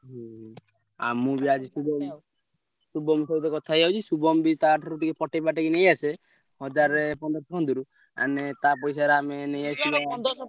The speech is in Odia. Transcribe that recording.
ହୁଁ ଆମକୁ ବି ଶୁଭମ ସହିତ କଥା ହେଇଯାଉଛି ଶୁଭମ ବି ତା ଠାରୁ ଟିକେ ପଟେଇ ପାଟେଇ ନେଇଆସେ ହଜାର ପନ୍ଦରସହ ଆମେ ତା ପଇସାରେ ଆମେ ନେଇଆସିବା ।